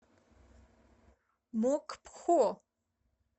мокпхо